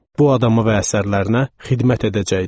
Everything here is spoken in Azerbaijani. Bu adama və əsərlərinə xidmət edəcəkdim.